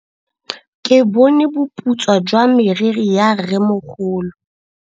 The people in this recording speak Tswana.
Ke bone boputswa jwa meriri ya rrêmogolo.